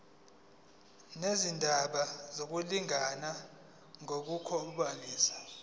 nezindaba zokulingana ngokobulili